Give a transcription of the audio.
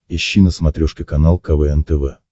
ищи на смотрешке канал квн тв